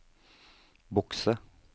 bokse